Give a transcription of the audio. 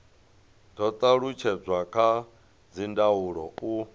do talutshedzwa kha dzindaulo u